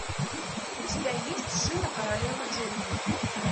у тебя есть шина королева джунглей